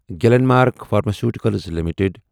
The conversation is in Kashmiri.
Glen mark pharmaceuticals limited